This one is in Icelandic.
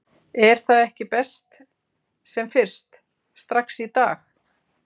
Er það ekki best sem fyrst, strax í dag??